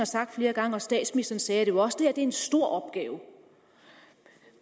sagt flere gange og statsministeren sagde det også det er en stor opgave